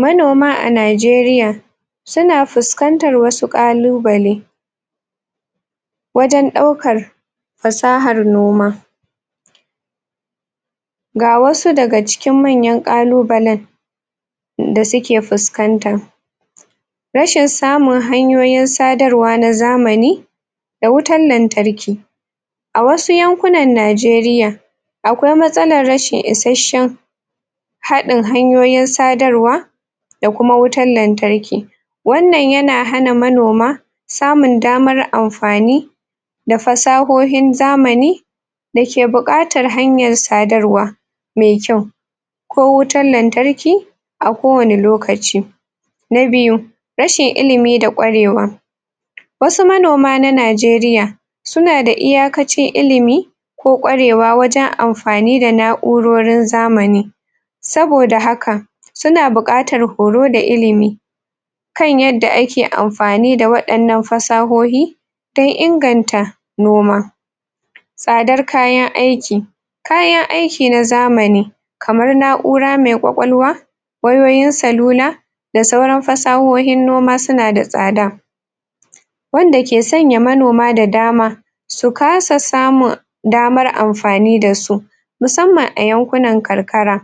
Manoma a Najeriya suna fuskantar wasu kallubali wajen daukar fasahar noma ga wasu da ga cikin manyan kalluballin da su ke fuskanta. Rashin samu hanyoyin sadarwa na zamani da wutan lantarki a wasu yanƙunan Najeriya akwai masalar rashin isheshen haddin hanyoyin sadarwa da kuma wutar lantarki wannan ya na hana manoma samur damar amfani da fasahohin zamani da ke bukatar hanyar sadarwa mai kyau ko wutar lantarki, a kowani lokaci na biyu, rashin ilimi da kwarewa wasu manoma na Najeriya su na da iyakacin ilimi ko kwarewa wajen amfani da naurorin zamani saboda haka su na bukatar horo da ilimi kan yadda a ke amfani da wadannan fasahohi dan inganta noma sadar kayan aiki kayan aiki na zamani kamar naura mai kwakwalwa, wayoyin salula da sauran fasahohin noma su na da sada wanda ke sanya manoma da dama su kasa samun damar amfani da su musamman a yanƙunan kankara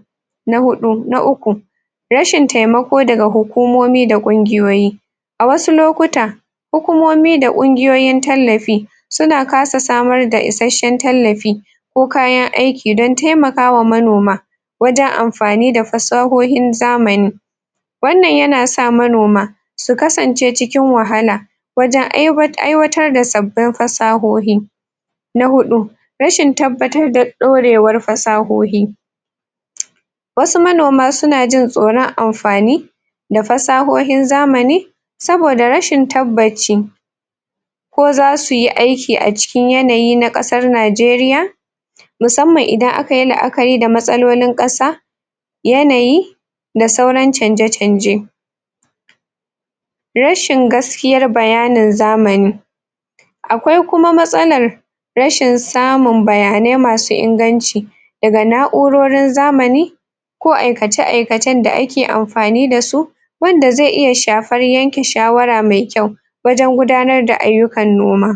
na hudu, na uku rashin taimako da ga hukumomi da kunguyoyi a wasu lokuta hukumomi da ƙunguyoyin tallafi su na kasa samar da isheshen tallafi ko kayan aiki dan taimakawa manoma wajen amfani da fasahohin zamani wannan ya na sa manoma su kasance cikin wahala wajen aiwatar da sabbin fasahohi na hudu rashin tabbatar da daurewar fasahohi wasu manoma su na jin tsoron amfani da fasahohin zamani, saboda rashin tabbaci ko za su yi aiki a cikin yanayi na kasar Najeriya musamman idan a ka yi, la a ka yi da matsalolin kasa yanayi, da sauran canje-canje rashin gaskiyar bayanin zamani akwai kuma matsalar rashin samun bayane ma su inganci da ga naurorin zamani ko aikace-aikacen da a ke amfani da su wanda zai iya shafar yanke shawarar mai kyau wajen gudanar da ayukan noma.